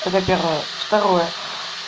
это первое второе